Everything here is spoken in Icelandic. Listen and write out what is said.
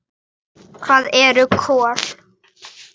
Hvíl í friði, elsku Birna.